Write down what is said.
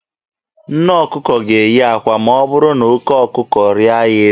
Nne ọkụkọ ga-eyi akwa ma ọ bụrụ na oke ọkụkọ rịa ya elu.